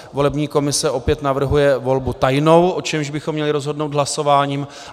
Volební komise opět navrhuje volbu tajnou, o čemž bychom měli rozhodnout hlasováním.